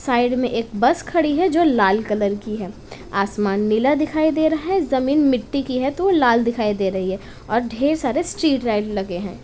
Side में एक bus खड़ी है जो लाल कलर की है। आसमान नीला दिखाई दे रहा है। जमीन मिट्टी की है तो वो लाल दिखाई दे रही है और ढेर सारे स्ट्रीट लाइट लगे हैं।